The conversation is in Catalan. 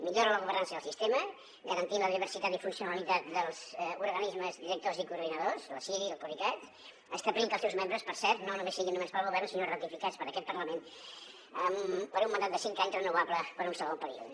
millora la governança del sistema garantint la diversitat i funcionalitat dels organismes directors i coordinadors la ciri el coricat establint que els seus membres per cert no només siguin nomenats pel govern sinó ratificats per aquest parlament per un mandat de cinc anys renovable per a un segon període